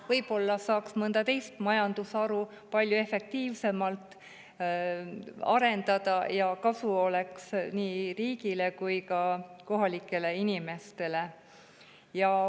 Võib-olla saaks mõnda teist majandusharu palju efektiivsemalt arendada ja kasu oleks nii riigile kui ka kohalikele inimestele.